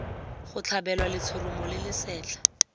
go tlhabelwa letshoroma le lesetlha